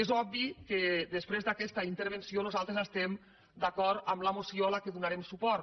és obvi que després d’aquesta intervenció nosaltres estem d’acord amb la moció a la qual donarem suport